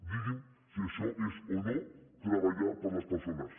digui’m si això és o no treballar per les persones